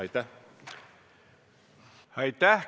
Aitäh!